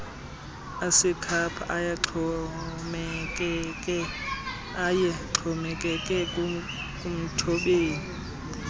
asekhapha ayexhomekeke kumthobeli